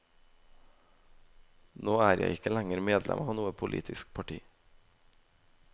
Nå er jeg ikke lenger medlem av noe politisk parti.